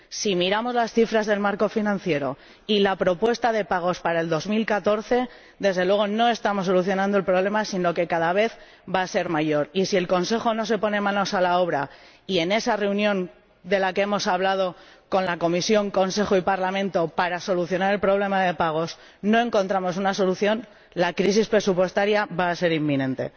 Si miramos las cifras del marco financiero y la propuesta de pagos para el 2014, desde luego no estamos solucionando el problema, sino que este va a ser cada vez mayor, y si el Consejo no se pone manos a la obra y en esa reunión de la que hemos hablado con la Comisión, el Consejo y el Parlamento para solucionar el problema de los pagos no encontramos una solución, la crisis presupuestaria va a ser inminente.